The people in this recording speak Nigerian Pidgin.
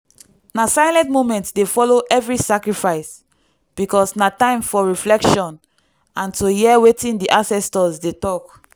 na silent moment dey follow every sacrifice because na time for reflection and to hear wetin di ancestors dey talk.